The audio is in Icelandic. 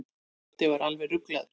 Tóti var alveg ruglaður.